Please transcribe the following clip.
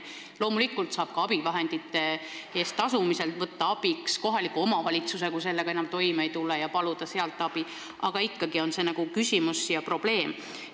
Loomulikult saab ka abivahendite eest tasumisel abi kohalikult omavalitsuselt, kui sellega enam toime ei tule, aga see on ikkagi probleem.